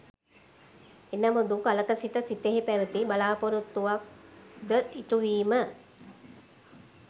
එනමුදු කලක සිට සිතෙහි පැවති බලාපොරොත්තුවක් ද ඉටුවීම